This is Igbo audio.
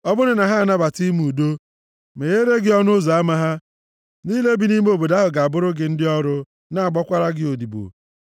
Ọ bụrụ na ha anabata ime udo, megheere gị ọnụ ụzọ ama ha, ndị niile bi nʼime obodo ahụ ga-abụrụ gị ndị ọrụ na-agbakwara gị odibo.